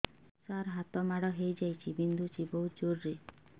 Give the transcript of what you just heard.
ସାର ହାତ ମାଡ଼ ହେଇଯାଇଛି ବିନ୍ଧୁଛି ବହୁତ ଜୋରରେ